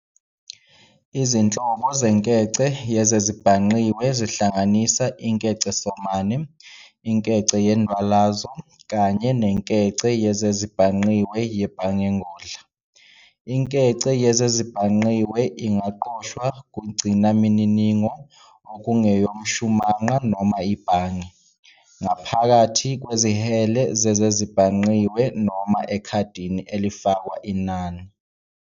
Izinhlobo zenkece yezezibhangqiwe zihlanganisa inkecesomane, inkece yendwalazo "virtual currency" kanye nenkece yezezibhangqiwe yebhangengodla. Inkece yezezibhangqiwe ingaqoshwa kungcinamininigo okungeyomshumanqa noma ibhange, ngaphakathi kwezihele zezezibhangqiwe noma ekhadini elifakwe inani.